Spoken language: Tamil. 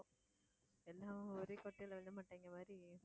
எல்லாம் ஒரே குட்டையில விழுந்த மட்டைங்க மாதிரி